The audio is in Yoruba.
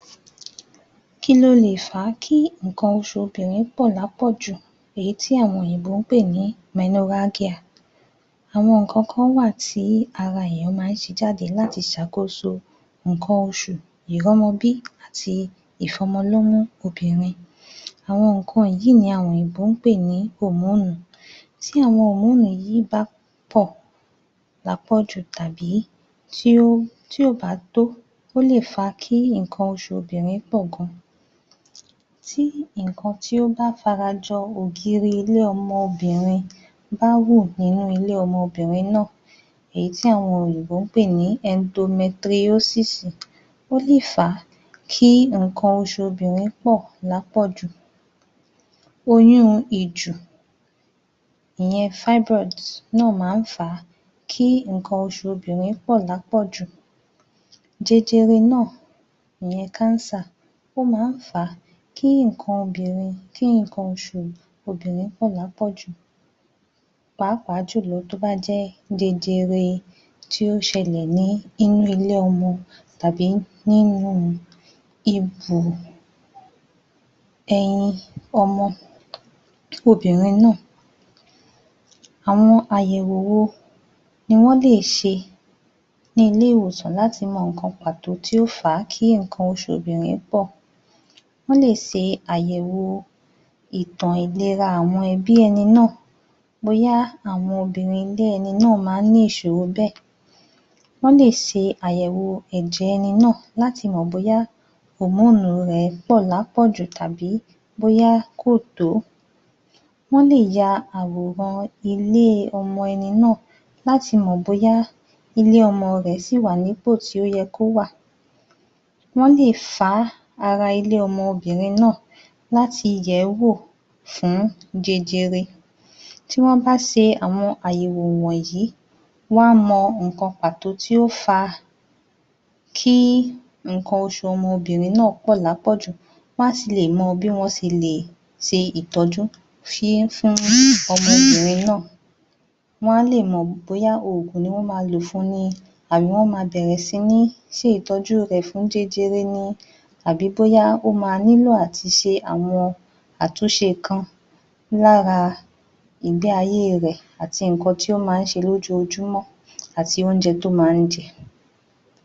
Kí ló lè fà á kí nnkan oṣù obìnrin pọ̀ lápọ̀jù? Èyí tí àwọn òyìnbó ń pè ní [menorrhagia]. Àwọn nǹkan kan wà tí ara èèyàn ma ń ṣe jade láti ṣàkóso nǹkan oṣù, ìrọ́mọbí, àti ìfọ́mọ lọ́mú obìnrin. Àwọn nǹkan yìí ni àwọn òyìnbó ń pè ní [hormone]. TÍ àwọn [hormone] yìí bá pọ̀ lápọ̀jù, tàbí tí ò bá tó, ó lè fà á kí nnkan oṣù obìnrin pọ̀ gan-an. Tí nǹkan tí ó bá fara jọ ògiri ilé-ọmọ obìnrin ba wù nínú ilé ọmọ obìnrin náà, èyí tí àwọn òyìnbó ń pè ní [endometriosis], ó lè fà á kí nǹkan oṣù obìnrin pọ̀ lápọ̀jù. Oyún ìjù, ìyẹn [fibroids] náà má ń fà á kí nǹkan oṣù obìnrin pọ̀ lápọ̀jù. Jẹjẹrẹ náà, ìyẹn [cancer], ó ma ń fà á kí nǹkan oṣù obìnrin pọ̀ lápọ̀jù lápọ̀jù pàápàá jù lọ tó bá jẹ́ jẹjẹrẹ tí ó ṣẹlẹ̀ ní nínú ilé-ọmọ tàbí nínú ibù ẹyin ọmọ obìnrin náà. Àwọn àyẹ̀wò wo ni wọ́n lè ṣe ní ilé-ìwòsan láti mọ nnkan pàtó tí ó fà á kí nnkan oṣù obìnrin pọ̀? Wọ́n lè ṣe àyẹ̀wò ìtàn ìlera àwọn ẹbí ẹni náà bóyá àwọn obìnrin ilé ẹni náà máa ń ní ìṣòro bẹ́ẹ̀, wọ́n lè ṣe àyẹ̀wò ẹ̀jẹ̀ ẹni náà láti mọ̀ bóyá [hormone] rẹ̀ pọ̀ lápọ̀jù tàbí bóyá kò tó. Wọ́n lè ya àwòrán ilé-ọmọ ẹni náà láti mọ̀ bóyá ilé-ọmọ rẹ̀ sì wà ní ipò tí ó yẹ kó wà. Wọ́n lè fá ara ilé-ọmọ obìnrin náà láti yẹ̀ẹ́wò fún jẹjẹrẹ. Tí wọ́n bá ṣe àwọn àyẹ̀wò wọ̀nyí, wọn á mọ nǹkan pàtó tí ó fa kí nnkan oṣù ọmọ obìnrin náà pọ̀ lápọ̀jù, wọn á sì lè mọ̀ bí wọ́n ṣe lè ṣe ìtọ́jú fún ọmọ bìnrin náà.. Wọn á lè mọ̀ bóyá oògùn ni wọ́n ma lò fun ni, àbí wọ́n ma bẹ̀rẹ̀ sí ní ṣe ìtọ́jú rẹ̀ fún jẹjẹrẹ ni, àbí bóyá ó ma nílò àti ṣe àwọn àtúnṣe kan lára ìgbé ayé rẹ̀ àti nǹkan tí ó má ń ṣe lójojúmọ́ àti oúnjẹ tí ó má ń jẹ.